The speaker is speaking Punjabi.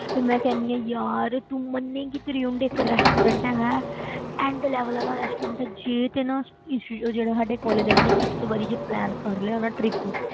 ਤੇ ਮੈਂ ਕਹਿੰਦੀ ਹੈਗੀ ਹਾਂ ਯਾਰ ਤੂੰ ਮੰਨੇਗੀ ਤ੍ਰਿਉਂਡ ਇੱਕ restaurant ਹੈਗਾ ਹੈ end level ਵਾਲਾ restaurant ਹੈ, ਜੇ ਤੇ ਨਾ ਇਸ ਜੋ ਜਿਹੜੇ ਸਾਡੇ college ਵਾਲਿਆਂ ਨੇ ਇਸ ਵਾਰੀ ਜੇ plan ਕਰ ਲਿਆ ਨਾ trip